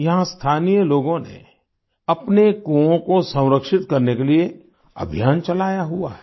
यहाँ स्थानीय लोगों ने अपने कुओं को संरक्षित करने के लिये अभियान चलाया हुआ है